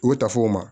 U ta f'o ma